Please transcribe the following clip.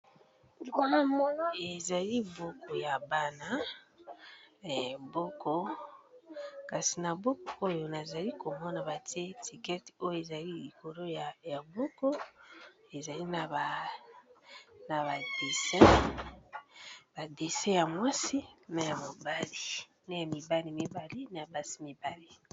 Ezali buku ya bana, kasi na buku oyo nazali komona batie etikete oyo ezali likolo ya buku ezali na ba dessin. Ba dessin ya mwasi na ya mobali, na ya mibali mibale na basi mibale.